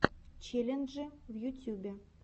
челленджи в ютюбе